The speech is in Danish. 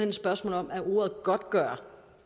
et spørgsmål om ordet godtgøre